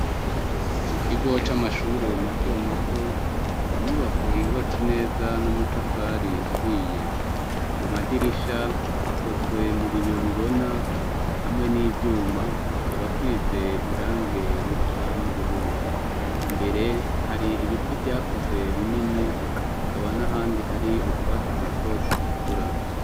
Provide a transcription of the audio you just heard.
Mu kigo c'amashure mato mato, n'inyubako yubatse neza n'amatafari ahiye ku madirisha akozwe mu biyo bibona hamwe n'ivyuma akaba asuyize irange risa n'ubururu imbere hari ibiti vyakuze binini akaba n'ahandi hari utwatsi duto tugikura.